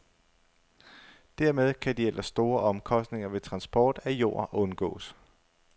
Dermed kan de ellers store omkostninger ved transport af jord undgås.